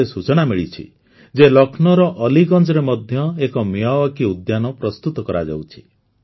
ମତେ ସୂଚନା ମିଳିଛି ଯେ ଲକ୍ଷ୍ନୌର ଅଲିଗଞ୍ଜରେ ମଧ୍ୟ ଏକ ମିୟାୱାକି ଉଦ୍ୟାନ ପ୍ରସ୍ତୁତ କରାଯାଉଛି